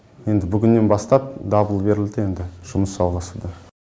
енді бүгіннен бастап дабыл берілді енді жұмыс жалғасуда